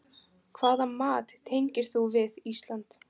Hvaða mat tengir þú við Ísland?